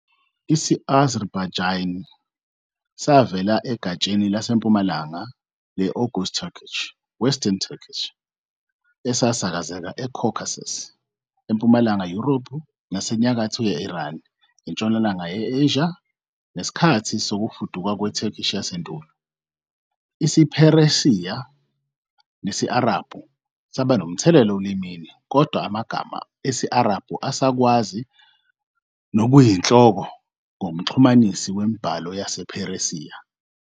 Isi-Azerbaijani savela egatsheni laseMpumalanga le- Oghuz Turkic, "Western Turkic",esasakazekela eCaucasus, eMpumalanga Yurophu, nasenyakatho ye-Iran, eNtshonalanga ye-Asia, ngesikhathi sokufuduka kweTurkic yasendulo. IsiPheresiya nesi- Arabhu saba nomthelela olimini, kodwa amagama esi-Arabhu asakazwa ngokuyinhloko ngomxhumanisi wemibhalo yasePheresiya.